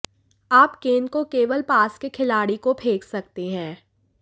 आप गेंद को केवल पास के खिलाड़ी को फेंक सकते हैं